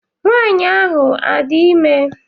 Nwanyị ahụ adị ime?